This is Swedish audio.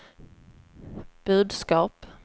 budskap